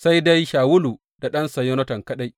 Sai dai Shawulu da ɗansa Yonatan kaɗai.